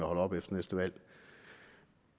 holder op efter næste valg